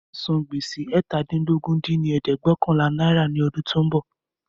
Máa san gbèsè eétàdínlógún dín ní ẹ̀ẹ́dẹ́gbẹ́ọ̀kànlá náírà ní ọdún tí ó ń bọ̀